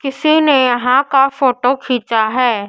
किसी ने यहां का फोटो खींचा है।